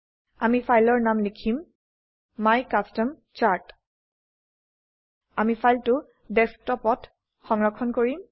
আমি ফাইলৰ নাম লিখিম my custom চাৰ্ট আমি ফাইলটো Desktopত সংৰক্ষণ কৰিম